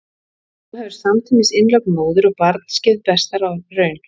Þá hefur samtímis innlögn móður og barns gefið besta raun.